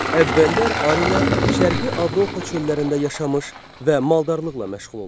Əvvəllər arilər Şərqi Avropa çöllərində yaşamış və maldarlıqla məşğul olmuşlar.